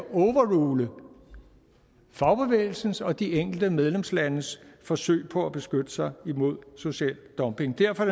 overrule fagbevægelsens og de enkelte medlemslandes forsøg på at beskytte sig imod social dumping derfor